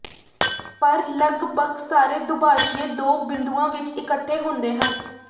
ਪਰ ਲਗਭਗ ਸਾਰੇ ਦੁਭਾਸ਼ੀਏ ਦੋ ਬਿੰਦੂਆਂ ਵਿਚ ਇਕੱਠੇ ਹੁੰਦੇ ਹਨ